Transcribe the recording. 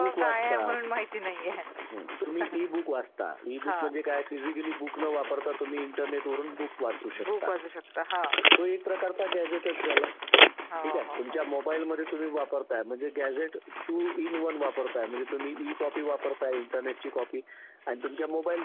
British काळात सुद्धा आणि निवडक पुरुषांना असायचा. असं नाही की सरसकट सगळेच, जे काही एलिट लोकं होते, एलिट म्हणजे वरच्या वर्गातले लोक होते आणि ब्रिटिश आणि भारतातले काही शिकले सावरलेले अश्याच लोकांना निवडणुकीत सहभागी होण्याचं अधिकार होता.